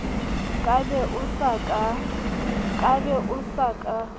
ka be o sa ka